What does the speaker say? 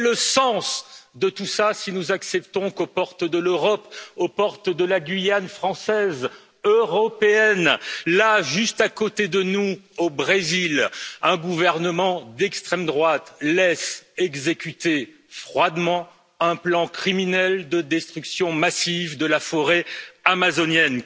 Quel est le sens de tout cela si nous acceptons qu'aux portes de l'Europe, aux portes de la Guyane française, européenne, là, juste à côté de nous, au Brésil, un gouvernement d'extrême droite laisse exécuter froidement un plan criminel de destruction massive de la forêt amazonienne.